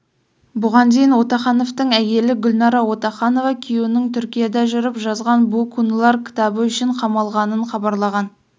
бұған дейін отахановтың әйелі гүлнара отаханова күйеуінің түркияда жүріп жазған бу кунлар кітабы үшін қамалғанын хабарлаған